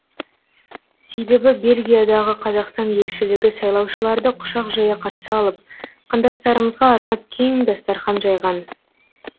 себебі бельгиядағы қазақстан елшілігі сайлаушыларды құшақ жая қарсы алып қандастарымызға арнап кең дастархан жайған